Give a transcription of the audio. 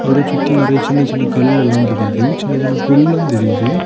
அவரைச் சுத்தி நெறிய சின்ன சின்ன கல் எல்லா தெரியுது. சின்ன சின்ன புல்லும் தெரியுது.